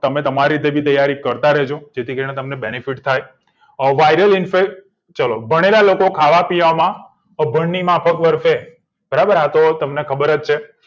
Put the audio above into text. તમે તમારી રીતે તૈયારી કરતા રેજો જેથી કરીને તમને benefit થાય ઘણીવાર લોકો ખાવાપીવામાં ગરમીમાં બરાબર આ તમને ખબર જ છે